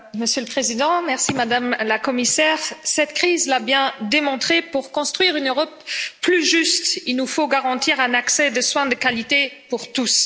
Monsieur le Président, Madame la Commissaire, cette crise l'a bien démontré, pour construire une Europe plus juste, il nous faut garantir l'accès à des soins de qualité pour tous.